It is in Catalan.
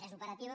és operativa